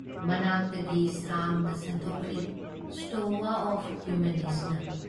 ꯃꯅꯥꯛꯇꯒꯤ ꯁꯥꯡꯅ ꯁꯟꯗꯣꯛꯈ꯭ꯔꯤ ꯁ꯭ꯇꯣꯋꯥ ꯑꯣꯐ ꯌꯨꯃꯤꯅꯤꯁꯅ ꯫